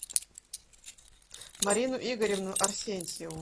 марину игоревну арсентьеву